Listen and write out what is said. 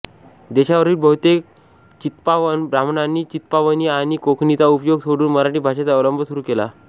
देशावरील बहुतेक चित्पावन ब्राह्मणांनी चित्पावनी आणि कोकणीचा उपयोग सोडून मराठी भाषेचा अवलंब सुरू केला